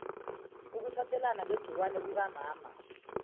ukuthathelana ngegciwane kukamama